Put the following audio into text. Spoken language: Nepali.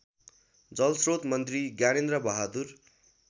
जलस्रोत मन्त्री ज्ञानेन्द्रबहादुर